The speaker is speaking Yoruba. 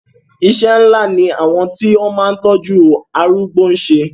Iṣẹ́ ńlá ni àwọn tí ó máa ń tọ́jú arúgbó ń ṣe.